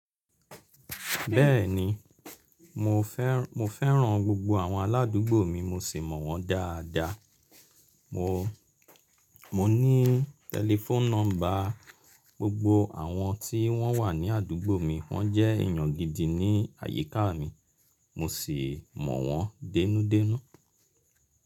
Bẹ́ẹ̀ni, mo fẹ́ran gbogbo àwọn ará àdúgbò mi mo sì mọ̀ wọ́n dáadáa. Mo ní tẹlifoonu nọ́mbà gbogbo àwọn tí wọ́n wà ní àdúgbò mi. Wọ́n jẹ́ èèyàn gidi ní àyíká mi, mo sì mọ̀ wọ́n dẹ́nú dẹ́nú.